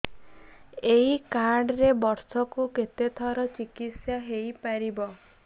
ଏଇ କାର୍ଡ ରେ ବର୍ଷକୁ କେତେ ଥର ଚିକିତ୍ସା ହେଇପାରିବ